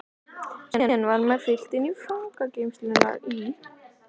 Síðan var mér fylgt í fangageymslurnar í